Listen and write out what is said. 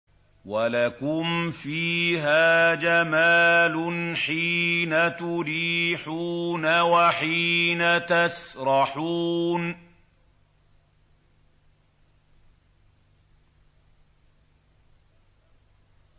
وَلَكُمْ فِيهَا جَمَالٌ حِينَ تُرِيحُونَ وَحِينَ تَسْرَحُونَ